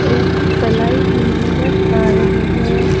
एक प्लाई भी नजर आ रही है।